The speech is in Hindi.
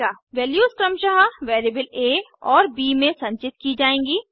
वैल्यूज क्रमशः वेरिएबल आ और ब में संचित की जाएँगी